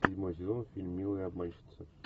седьмой сезон фильм милые обманщицы